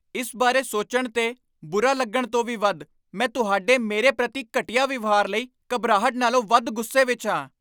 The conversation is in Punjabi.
ਇਸ ਬਾਰੇ ਸੋਚਣ 'ਤੇ, ਬੁਰਾ ਲੱਗਣ ਤੋਂ ਵੀ ਵੱਧ, ਮੈਂ ਤੁਹਾਡੇ ਮੇਰੇ ਪ੍ਰਤੀ ਘਟੀਆ ਵਿਵਹਾਰ ਲਈ ਘਬਰਾਹਟ ਨਾਲੋਂ ਵੱਧ ਗੁੱਸੇ ਵਿਚ ਹਾਂ।